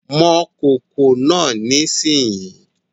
Mọ kòkò náà nísìnyí